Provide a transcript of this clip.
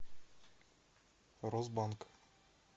росбанк